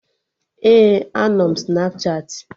Ee, anọ m Snapchatị